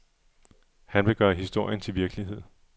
Han vil gøre historien til virkelighed.